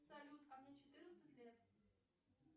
салют а мне четырнадцать лет